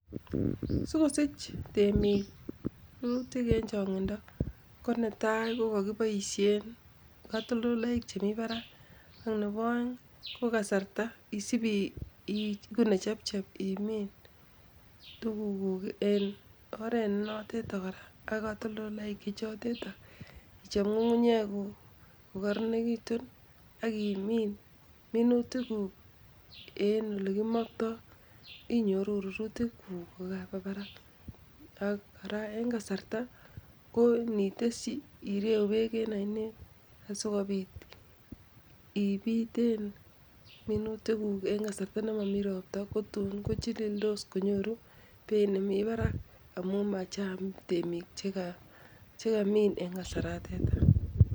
Sikosich temiik rurutik en chong'indo ko netai ko kakiboisien katoltoloik chemi parak ak nepo oeng' ko kasarta isip iigu nechepchep imin tuguguk en oret nenotet kora ak katoltoloik chechotet ichop ng'ung'unyeguk kokarenegitu ak imiin minutiguk en olekimokto inyoru rurutiguk kokakapa parak, ak kora en kasarta ko initesyi ireu peek en ainet asikopiit ipiten minutiguk en kasarta ne momi ropta kotun kochilildos konyoru peit nemi parak amun machang' temiik chekamiin en kasaratet.